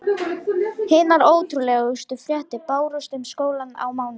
Hinar ótrúlegustu fréttir bárust um skólann á mánudegi.